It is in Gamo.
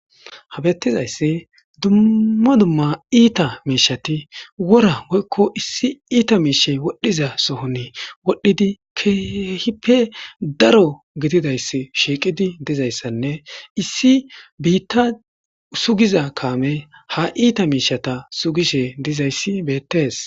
habettizayssi dumma dumma iita miishati wora woykko issi iita miishe wodhdhiza sohon wodhdhidi keehippe daro gididayss shiiqidi dizayssanne issi biitta sugiza kaame ha iita miishata sugishe dizayssi beettees